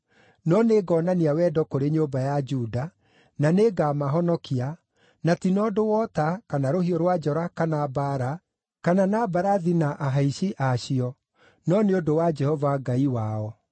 No nĩngonania wendo kũrĩ nyũmba ya Juda; na nĩngamahonokia, na ti na ũndũ wa ũta, kana rũhiũ rwa njora kana mbaara, kana na mbarathi na ahaici acio, no nĩ ũndũ wa Jehova Ngai wao.”